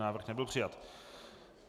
Návrh nebyl přijat.